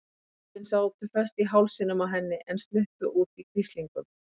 Ópin sátu föst í hálsinum á henni en sluppu út í hvíslingum.